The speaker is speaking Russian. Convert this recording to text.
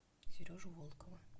сережу волкова